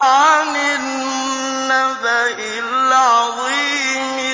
عَنِ النَّبَإِ الْعَظِيمِ